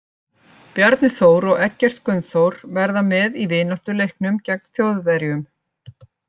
Bjarni Þór og Eggert Gunnþór verða með í vináttuleiknum gegn Þjóðverjum.